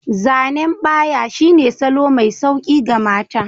Zanen ɓaya shine salo mai sauƙi ga mata.